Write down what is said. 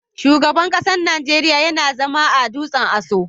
Shugaban kasan Nijeriya yana zama a dutsen Aso.